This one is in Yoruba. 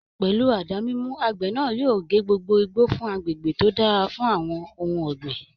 Pẹ̀lú àdá mímú, àgbẹ̀ náà yóò gé gbogbo igbó fún agbègbè tó dára fún àwọn ohun ọ̀gbìn